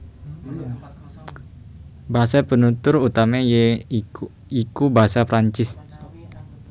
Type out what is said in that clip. Basa penutur utamané ya iku basa Prancis